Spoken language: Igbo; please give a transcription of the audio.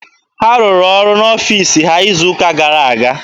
Ha rụrụ ọrụ n'ọfiisi ha izu ụka gara aga.